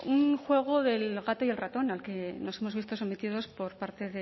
un juego del gato y el ratón al que nos hemos visto sometidos por parte